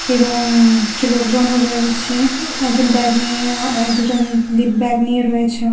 এবং-ং কিছু লোকজনও রয়েছে একজন ব্যাগ নিয়ে আঁ দুজন দি ব্যাগ নিয়ে রয়েছেও--